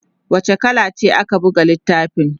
wace kala ce ake buga littafin?